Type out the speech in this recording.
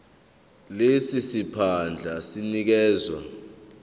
lesi siphandla sinikezwa